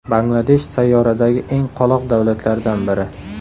Bangladesh sayyoradagi eng qoloq davlatlardan biri.